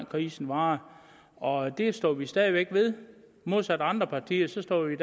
krisen varer og det står vi stadig væk ved modsat andre partier står vi